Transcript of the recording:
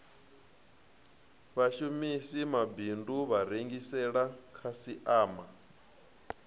vhashamisi mabindu a rengisela khasiama